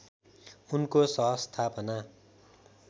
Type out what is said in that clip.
उनको सहस्थापना